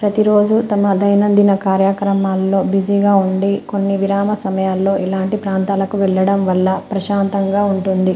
ప్రతిరోజు తన కార్యక్రమం లో బిజీగా ఉండి కొన్ని విరామ సమయంలో ఇలాంటి ప్రాంతాలకు వెళ్లడం వల్ల ప్రశాంతంగా ఉంటుంది.